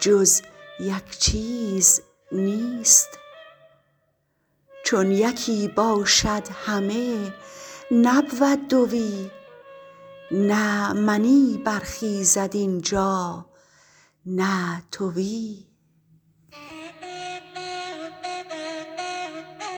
جز یک چیز نیست چون یکی باشد همه نبود دوی نه منی برخیزد اینجا نه توی